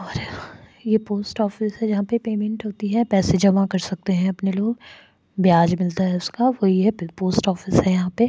और ये post office से यहा पे पेमेंट होती है पैसे जमा कर सकते हैं अपने लोग ब्याज मिलता है उसका कोई है पोस्ट ऑफिस है यहां पे --